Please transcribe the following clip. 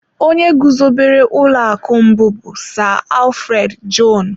Onye guzobere ụlọ akụ mbụ bụ Sir Alfred Jon.